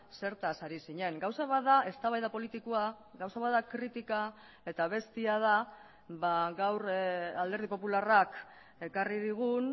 zertaz ari zinen gauza bat da eztabaida politikoa gauza bat da kritika eta bestea da gaur alderdi popularrak ekarri digun